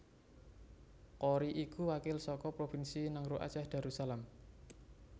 Qory iku wakil saka Provinsi Nanggroe Aceh Darussalam